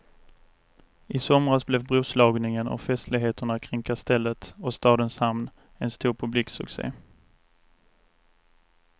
I somras blev broslagningen och festligheterna kring kastellet och stadens hamn en stor publiksucce.